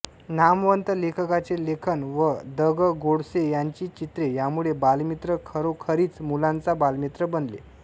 नामवंत लेखकांचे लेखन व द ग गोडसे यांची चित्रे यांमुळे बालमित्र खरोखरीच मुलांचा बालमित्र बनले